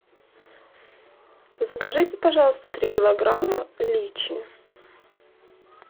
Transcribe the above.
закажите пожалуйста три килограмма личи